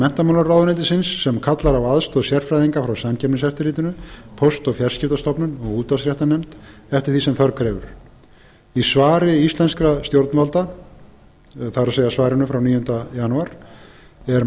menntamálaráðuneytisins sem kallar á aðstoð sérfræðinga frá samkeppniseftirlitinu póst og fjarskiptastofnun og útvarpsréttarnefnd eftir því sem þörf krefur í svari íslenskra stjórnvalda það er svarinu frá nítugustu janúar er